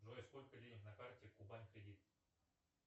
джой сколько денег на карте кубань кредит